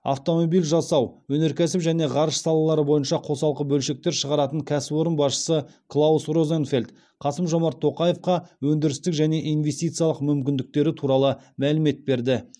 автомобиль жасау өнеркәсіп және ғарыш салалары бойынша қосалқы бөлшектер шығаратын кәсіпорын басшысы клаус розенфельд қасым жомарт тоқаевқа өндірістік және инвестициялық мүмкіндіктері туралы мәлімет берді